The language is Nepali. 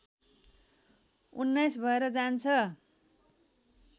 १९ भएर जान्छ